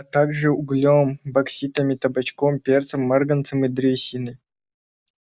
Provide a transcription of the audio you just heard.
а также углем бокситами табачком перцем марганцем и древесиной